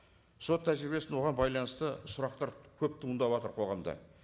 сот тәжірибесінің оған байланысты сұрақтар көп туындаватыр қоғамда